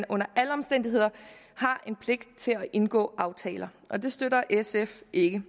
under alle omstændigheder at indgå aftaler og det støtter sf ikke